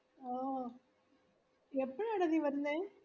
ഓ എപ്പോഴാടാ നീവരുന്നേ